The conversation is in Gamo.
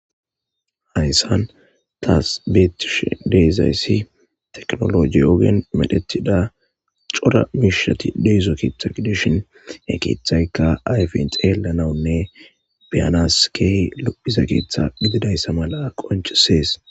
Hayisan tasi betishe dizayisi tekinologe ogen medhetida co,ra mishati dizo ketha gidishin he kethayika ayifen xelanawunne be,anawu kehi lo,iza ketha gidiza mala qonc, ises